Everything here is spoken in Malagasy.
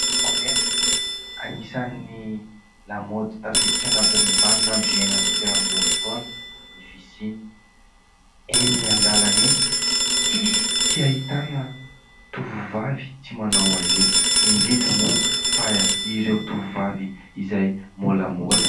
Lokomena anisan'ny lamaody tafiditra anatin'ny vaninan'andro iainantsika amin'izao fotoana ny fisiny. Eny an-dalana eny tsisy tsy ahitana tovovavy tsy manao azy io ; indrindra moa fa ireo tovovavy izay molamola.